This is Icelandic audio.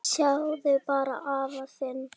Sjáðu bara afa þinn.